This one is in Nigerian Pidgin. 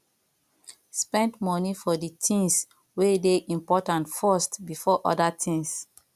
spend money for di things wey dey important first before oda things